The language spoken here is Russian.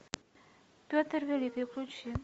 петр великий включи